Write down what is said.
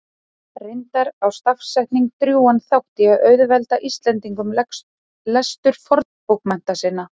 Reyndar á stafsetning drjúgan þátt í að auðvelda Íslendingum lestur fornbókmennta sinna.